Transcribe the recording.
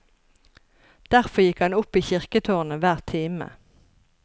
Derfor gikk han opp i kirketårnet hver time.